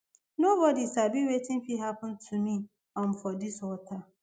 nobody sabi wetin fit happen to me um for dis water